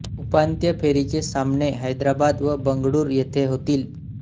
उपांत्य फेरीचे सामने हैदराबाद व बंगळूर येथे होतील